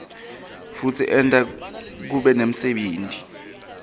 futsi enta kube nemsebenti